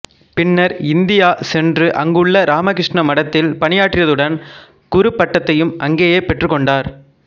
பின்னர் இந்தியா சென்று அங்குள்ள இராமகிருஷ்ண மடத்தில் பணியாற்றியதுடன் குருப்பட்டத்தையும் அங்கேயே பெற்றுக்கொண்டார்